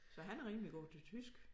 Så han er rimelig god til tysk